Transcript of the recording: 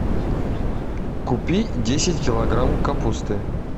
купи десять килограмм капусты